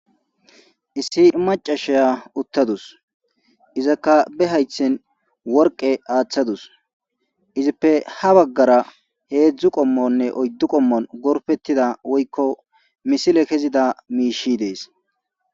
issi macashiya uttadus izakka be haythen worqe aaththadus izippe ha baggara heedzdzu qommonne oyddu qommon gorfettida woykko misile kezida miishi dees.